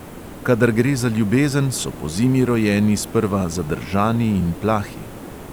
Kadar gre za ljubezen, so pozimi rojeni sprva zadržani in plahi.